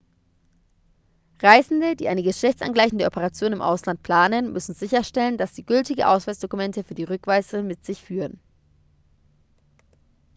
reisende die eine geschlechtsangleichende operation im ausland planen müssen sicherstellen dass sie gültige ausweisdokumente für die rückreise mit sich führen